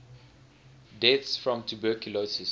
deaths from tuberculosis